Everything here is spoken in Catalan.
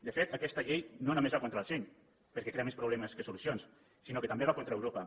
de fet aquesta llei no només va contra el seny perquè crea més problemes que solucions sinó que també va contra europa